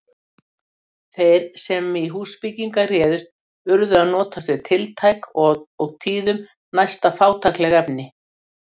Þeir sem í húsbyggingar réðust urðu að notast við tiltæk og tíðum næsta fátækleg efni.